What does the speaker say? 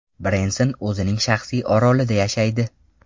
Brenson o‘zining shaxsiy orolida yashaydi.